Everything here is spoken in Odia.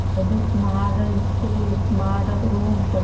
ଏବେ ସ୍ମାର୍ଟ school ସ୍ମାର୍ଟ ରୁମ ସବୁ ସବୁ ସେଇଠି